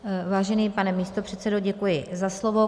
Vážený pane místopředsedo, děkuji za slovo.